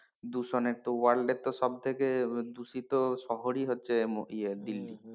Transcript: দূষণের তো world এর তো সব থেকে দূষিত শহরই হচ্ছে ইয়ে দিল্লি।